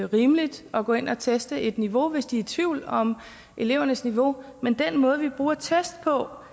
rimeligt at gå ind og teste et niveau hvis de er i tvivl om elevernes niveau men det er den måde vi bruger test på